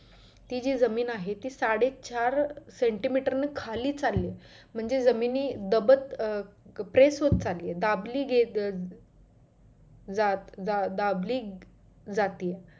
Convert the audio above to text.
ती जी जमीन आहे साडेचार centemeter खाली चालले म्हणजे जमिनी दबत press होत चालली आहे दाबली गेलं अं जा जा दाबली जातेय